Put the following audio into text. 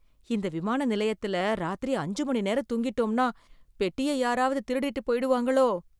இந்த விமான நிலையத்துல, ராத்திரி அஞ்சு மணி நேரம் தூங்கிட்டோம்னா, பெட்டிய யாராவது திருடிட்டு போய்டுவாங்களோ...